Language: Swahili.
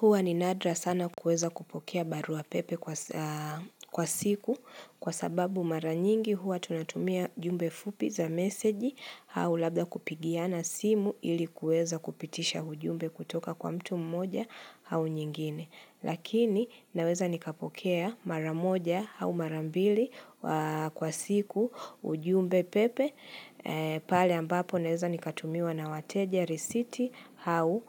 Huwa ni nadra sana kuweza kupokea barua pepe kwa siku kwa sababu mara nyingi huwa tunatumia jumbe fupi za meseji au labda kupigiana simu ili kueza kupitisha ujumbe kutoka kwa mtu mmoja au nyingine. Lakini naweza nikapokea maramoja au mara mbili kwa siku ujumbe pepe pale ambapo naweza nikatumiwa na wateja risiti au